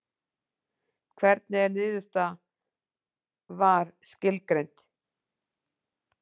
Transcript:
Hvernig er niðurstaða VAR skilgreind?